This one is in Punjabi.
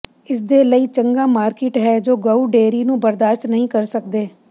ਇਸਦੇ ਲਈ ਚੰਗਾ ਮਾਰਕੀਟ ਹੈ ਜੋ ਗਊ ਡੇਅਰੀ ਨੂੰ ਬਰਦਾਸ਼ਤ ਨਹੀਂ ਕਰ ਸਕਦੇ